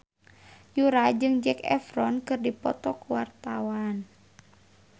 Yura jeung Zac Efron keur dipoto ku wartawan